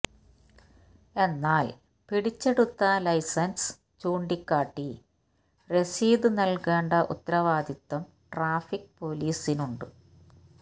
എന്നാല് പിടിച്ചെടുത്ത ലൈസന്സ് ചൂണ്ടിക്കാട്ടി റസീത് നല്കേണ്ട ഉത്തരവാദിത്വം ട്രാഫിക് പൊലീസിന് ഉണ്ട്